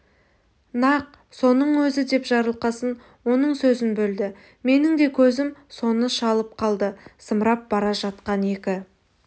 нақ соның өзі деп жарылқасын оның сөзін бөлді менің де көзім соны шалып қалды зымырап бара жатқан екі